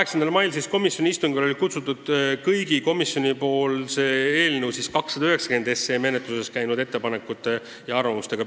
Sellele komisjoni istungile olid kutsutud esindajad kõigist ettevõtetest ja organisatsioonidest, kes olid komisjoni poole pöördunud eelnõu 290 kohta esitatud ettepanekute ja arvamustega.